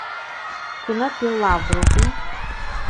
кино пила вруби